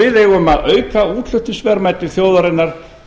við eigum að auka útflutningsverðmæti þjóðarinnar